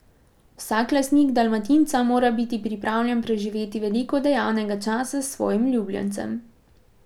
Vsak lastnik dalmatinca mora biti pripravljen preživeti veliko dejavnega časa s svojim ljubljencem.